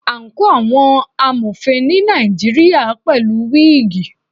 Àǹkóò àwọn Amọ̀fin ni Nàìjíríà pẹ̀lú wígìì.